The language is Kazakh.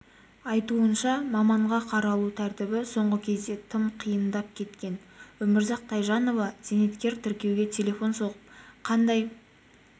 айтуынша маманға қаралу тәртібі соңғы кезде тым қиындап кеткен өмірзақ тайжанова зейнеткер тіркеуге телефон соғып қандай